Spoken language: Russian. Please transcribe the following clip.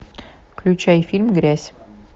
включай фильм грязь